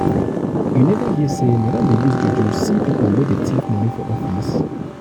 you neva hear sey madam dey use her juju see pipu wey tif moni for office?